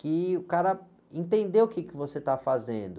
Que o cara... Entender o que você está fazendo.